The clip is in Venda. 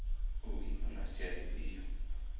u ima na sia lifhio